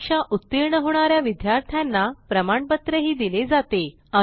परीक्षा उत्तीर्ण होणा या विद्यार्थ्यांना प्रमाणपत्रही दिले जाते